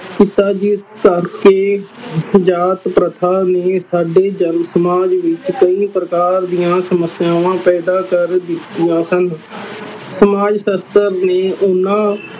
ਜਾਤ ਪ੍ਰਥਾ ਨੇ ਸਾਡੇ ਜਨ ਸਮਾਜ ਵਿਚ ਕਈ ਪ੍ਰਕਾਰ ਦੀਆ ਸਮੱਸਿਆਵਾਂ ਪੈਦਾ ਕਰ ਦਿਤੀਆਂ ਸਨ ਸਮਾਜ ਸਸਥਰ ਨੇ ਓਹਨਾ